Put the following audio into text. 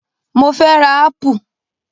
Mo fẹ́ rà ápù